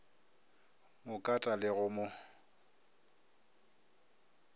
mo kata le go mo